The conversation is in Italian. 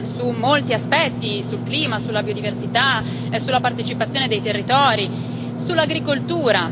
su molti aspetti sul clima, sulla biodiversità, sulla partecipazione dei territori, sull'agricoltura.